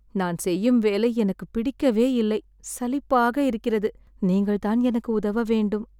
நான் செய்யும் வேலை எனக்கு பிடிக்கவேயில்லை, சலிப்பாக இருக்கிறது. நீங்கள் தான் எனக்கு உதவவேண்டும்.